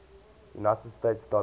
united states dollar